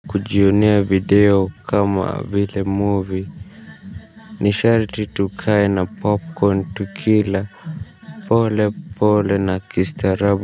Kujionea video kama vile movie ni sharti tukae na popcorn tukila. Pole pole na kistarabu.